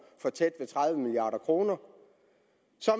for tæt ved tredive milliard kroner